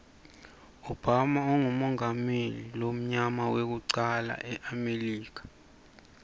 obama ungumengameli idmuyama wekucala emilika